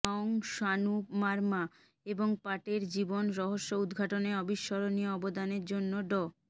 মং সানু মারমা এবং পাটের জীবন রহস্য উদ্ঘাটনে অবিস্মরণীয় অবদানের জন্য ড